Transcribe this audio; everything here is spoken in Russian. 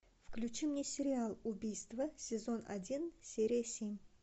включи мне сериал убийство сезон один серия семь